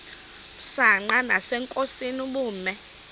msanqa nasenkosini ubume